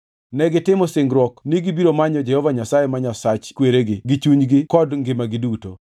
Negitimo singruok ni gibiro manyo Jehova Nyasaye ma Nyasach kweregi gi chunygi kod ngimagi duto.